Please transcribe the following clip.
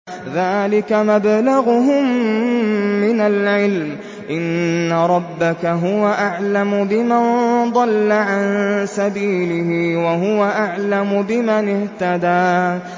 ذَٰلِكَ مَبْلَغُهُم مِّنَ الْعِلْمِ ۚ إِنَّ رَبَّكَ هُوَ أَعْلَمُ بِمَن ضَلَّ عَن سَبِيلِهِ وَهُوَ أَعْلَمُ بِمَنِ اهْتَدَىٰ